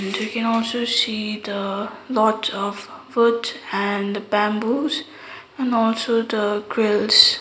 we can also see the lots of woods and bamboos and also the grills.